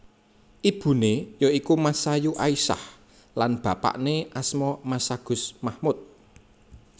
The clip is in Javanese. Ibuné ya iku Masayu Aisyah lan bapaké asma Masagus Mahmud